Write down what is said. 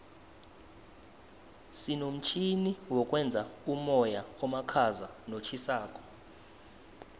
sinomtjhini wokwenza umoya omakhaza notjhisako